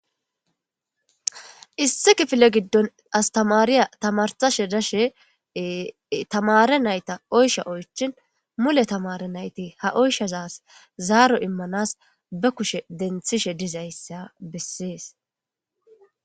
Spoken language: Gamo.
issi kifile giddon astamariya tamarsashe dashe tamare nayta oysha oychin mule tamare nayti ha oyshazaas zaaro immanas be kushe denthishe dizayssa bessees